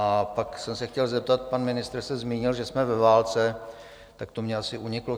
A pak jsem se chtěl zeptat, pan ministr se zmínil, že jsme ve válce, tak to mně asi uniklo.